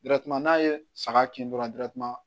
n'a ye saga kin dɔrɔn